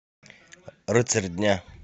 рыцарь дня